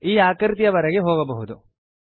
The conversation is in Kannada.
ಈ ಆಕೃತಿಯವರೆಗೆ ಹೋಗಬಹುದು